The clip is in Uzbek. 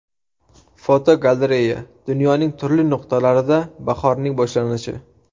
Fotogalereya: Dunyoning turli nuqtalarida bahorning boshlanishi.